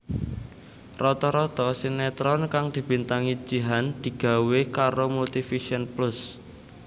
Rata rata sinetron kang dibintangi Jihan digawé karo Multivision Plus